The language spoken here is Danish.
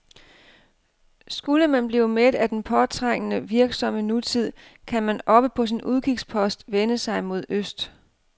Skulle man blive mæt af den påtrængende, virksomme nutid, kan man oppe på sin udkigspost vende sig mod øst.